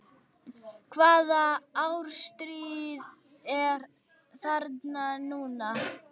Hvaða árstíð er þarna núna?